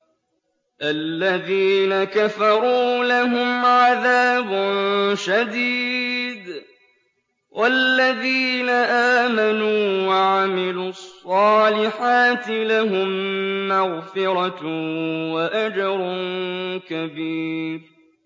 الَّذِينَ كَفَرُوا لَهُمْ عَذَابٌ شَدِيدٌ ۖ وَالَّذِينَ آمَنُوا وَعَمِلُوا الصَّالِحَاتِ لَهُم مَّغْفِرَةٌ وَأَجْرٌ كَبِيرٌ